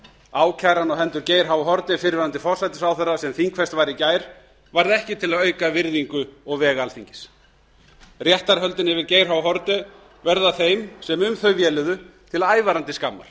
ákæran á hendur geir h haarde fyrrverandi forsætisráðherra sem þingfest var í gær varð ekki til að auka virðingu og veg alþingis réttarhöldin yfir geir h haarde verða þeim sem um þau véluðu til ævarandi skammar